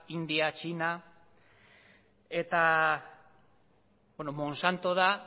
india eta txina eta monsanto da